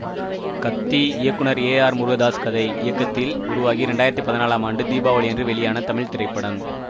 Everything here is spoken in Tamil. கத்தி இயக்குனர் ஏ ஆர் முருகதாஸ் கதை இயக்கத்தில் உருவாகி இரண்டு ஆயிரத்தி பதினாலாம் ஆண்டு தீபாவளியன்று வெளியான தமிழ் திரைப்படம்